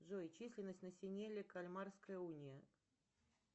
джой численность населения кальмарская уния